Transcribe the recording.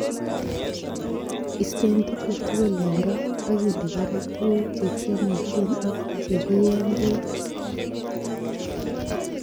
Isteen tuguk tugul en goo, ak inde barak tuguk che kiomisiek ak che kiiyeen beek.